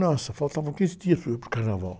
Nossa, faltavam quinze dias para o, para o carnaval.